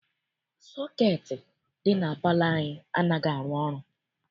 Sọketi dị na palọ anyị anaghị arụ ọrụ.